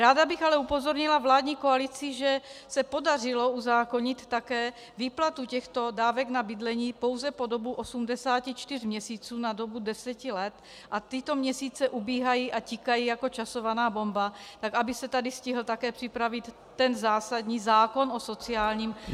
Ráda bych ale upozornila vládní koalici, že se podařilo uzákonit také výplatu těchto dávek na bydlení pouze po dobu 84 měsíců na dobu 10 let, a tyto měsíce ubíhají a tikají jako časovaná bomba, tak aby se tady stihl také připravit ten zásadní zákon o sociálním bydlení.